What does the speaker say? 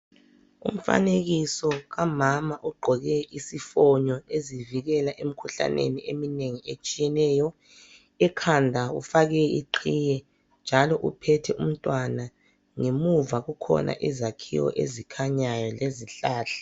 Umfanekiso kamama ogqoke isifonyo ezivikela emikhuhlaneni eminengi etshiyeneyo, ekhanda ufake iqhiye njalo uphethe umntwana. Ngemuva kukhona izakhiwo ezikhanyayo lezihlahla.